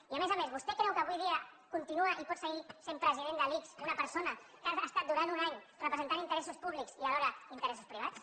i a més a més vostè creu que avui dia continua i pot seguir sent president de l’ics una persona que ha estat durant un any representant interessos públics i alhora interessos privats